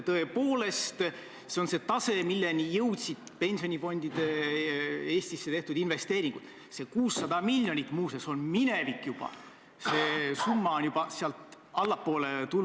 Ma saan aru, et selle küsimusega tahate nii teie kui ka härra Juske taas üles tõmmata seda küsimust, et kas arvestades 51-aastast ränka, negatiivset, halba ajajärku, okupatsiooni, tohivad need pildid seal olla või ei tohi.